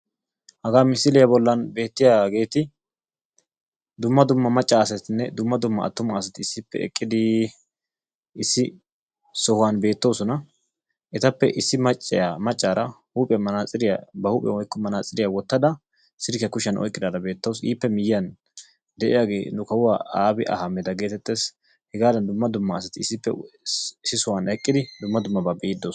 Hagaa misiliya bollan beettiyaageeti dumma dumma macca asatinne dumma dumma attuma asati issippe eqqidii issi sohuwan beettoosona. Etappe issi macciya maccaara huuphiyan manaatsiriya ba huuphiyan oyqqido manaatsiriya wottada silkkiya kushiyan oyikkidaara beettawus. Ippe miyiyan de'iyaagee nu kawuwaa Aabi Ahmeda geetettes. Hegaadan dumma dumma asati issippe issi sohan eqqidi dumma dummaba be"iidi doosona.